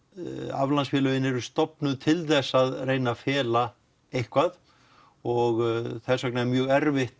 aflandsfélögin eru stofnuð til þess að reyna að fela eitthvað og þess vegna er mjög erfitt